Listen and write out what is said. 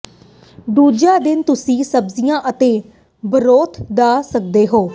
ਦੂਜਾ ਦਿਨ ਤੁਸੀਂ ਸਬਜ਼ੀਆਂ ਅਤੇ ਬਰੋਥ ਖਾ ਸਕਦੇ ਹੋ